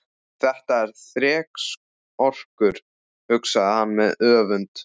Þetta er þrekskrokkur, hugsaði hann með öfund.